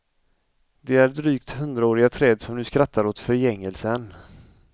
Det är drygt hundraåriga träd som nu skattar åt förgängelsen.